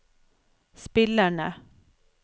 spillerne